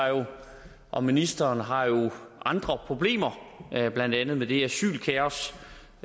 og ministeren har jo andre problemer blandt andet med det asylkaos